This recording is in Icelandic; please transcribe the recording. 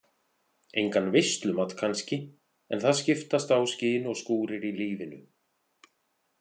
Engan veislumat kannski en það skiptast á skin og skúrir í lífinu.